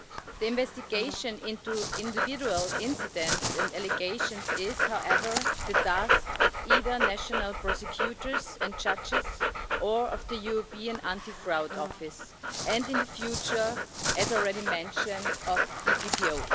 The investigation into individual incidents and allegations is, however, the task of either national prosecutors and judges or the European Anti Fraud Office and, in future, as already mentioned, of EPPO.